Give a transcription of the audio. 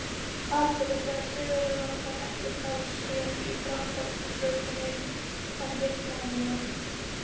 Aðspurður sagðist Sigurður Óttar ekkert hafa séð í Dráttarbrautinni en heyrt mannamál.